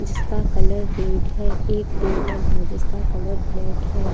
जिसका colour red है एक टेबल है जिसका कलर ब्लैक है।